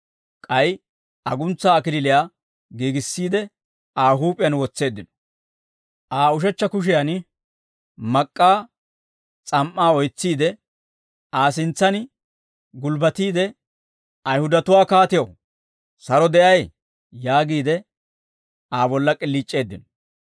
K'ay aguntsaa kalachchaa giigissiide, Aa huup'iyaan wotseeddino; Aa ushechcha kushiyan mak'k'aa s'am"aa oytsiide, Aa sintsan gulbbatiide, «Ayihudatuwaa kaatew, saro de'ay!» yaagiide, Aa bolla k'iliic'eeddino.